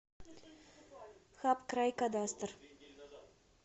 хабкрайкадастр